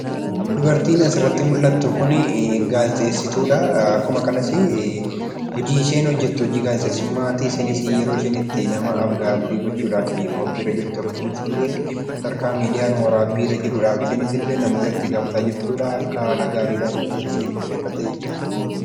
Dubartiin asirratti mul'attu kun gaazixeessituudha. Akkuma kanas hojii isheen hojjettu hojii gaazixeessummaati. Isheenis yeroo isheen itti nama af-gaaffii gochuudhaaf qophiirra jirtu akkasumas illee bakka waraabbiin miidiyaa jirutti afgaaffii gochaa jirtudha. Rifeensa ishee qopheeffattee jirti.